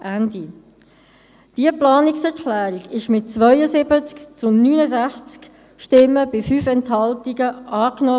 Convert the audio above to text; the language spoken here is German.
» Diese Planungserklärung wurde mit 72 zu 69 Stimmen bei 5 Enthaltungen angenommen.